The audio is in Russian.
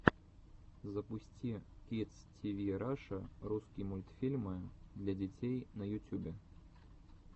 запусти кидс тиви раша русский мультфильмы для детей на ютюбе